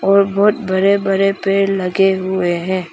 और बहोत बड़े बड़े पेड़ लगे हुए हैं।